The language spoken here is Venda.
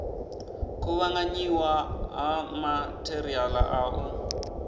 kuvhanganyiwa ha matheriala a u